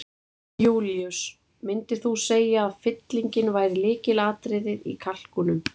Jón Júlíus: Myndir þú segir að fyllingin væri lykilatriðið í kalkúnum?